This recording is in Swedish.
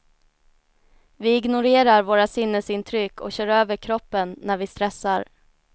Vi ignorerar våra sinnesintryck och kör över kroppen när vi stressar.